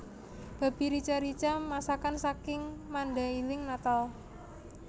Babi rica rica masakan saking Mandailing Natal